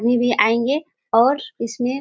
वे भी आएंगे और --